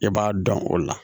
I b'a dɔn o la